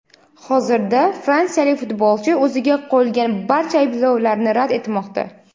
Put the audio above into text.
Hozirda fransiyalik futbolchi o‘ziga qo‘yilgan barcha ayblovlarni rad etmoqda.